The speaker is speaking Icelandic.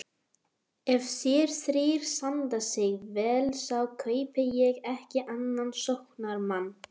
Ef þeir þrír standa sig vel þá kaupi ég ekki annan sóknarmann.